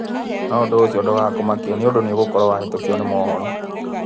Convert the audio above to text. No ũndũ ũcio ndũgakũmakie nĩundu nogũkorwo nĩwahetũkũo nĩ mohoro.